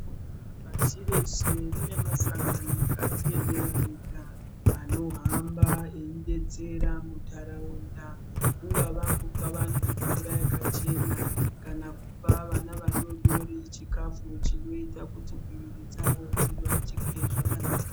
Pasi rese rine masangano akadziemera ega anohamba eidetsera muntaraunda. Kungava kupa vantu mvura yakachena kana kupa vana vadodori chikafu chinoita kuti mwiri dzavo dzvivakike zvakanaka.